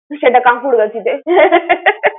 সেটা কাকুর গাছি তে।